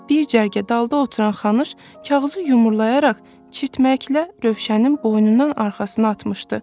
Bir cərgə dalda oturan Xanı şkağızı yumurlayaraq çirtməklə Rövşənin boynundan arxasına atmışdı.